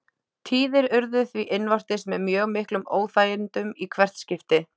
Tíðir urðu því innvortis með mjög miklum óþægindum í hvert skipti.